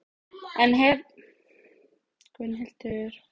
en hef enn ekki gert upp minn háværa hug þegar Hvítu hattarnir berja að dyrum.